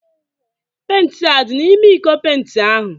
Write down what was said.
Penti a dị n'ime iko penti ahụ?